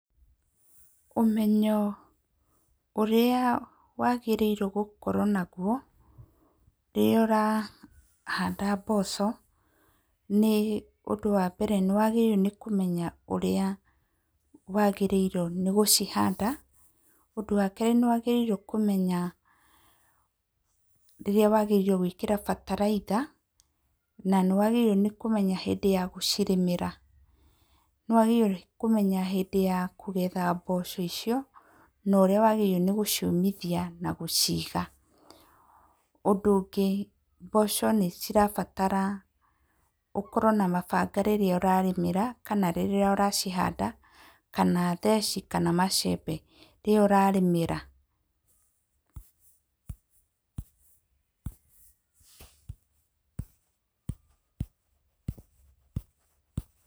Ũmenyo ũrĩa wagĩrĩirwo gũkorwo naguo rĩrĩa ũrahanda mboco, nĩ ũndũ wa mbere nĩ wagĩrĩirwo nĩ kũmenya ũrĩa wagĩrĩirwo nĩ gũcihanda. Ũndũ wa kerĩ ni wagĩrĩirwo nĩ kũmenya rĩrĩa wagĩrĩirwo gwĩkĩra bataraitha na nĩ wagĩrĩirwo nĩ kũmenya hĩndĩ ya gucirĩmĩra. Nĩ wagĩrĩirwo nĩ kũmenya hĩndĩ ya kũgetha mboco icio na nĩ ũrĩa wagĩrĩirwo nĩ gũciũmithia na gũciga. Ũndũ ũngĩ, mboco nĩ cirabatara ũkorwo na mabanga rĩrĩa ũracirĩmĩra kana rĩrĩa ũracihanda kana theci kana macembe rĩrĩa ũrarĩmĩra.